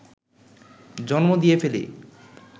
জন্ম দিয়ে ফেলি